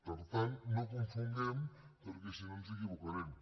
per tant no ho confonguem perquè si no ens equivocarem